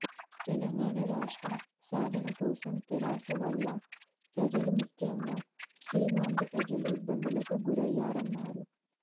తెలంగాణ రాష్ట్రం సాధన కోసం తెరాస వల్ల ప్రజలు ముఖ్యంగా సీమాంధ్ర ప్రజలు ఇబ్బందులకు గురయ్యారన్నారు